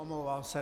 Omlouvám se.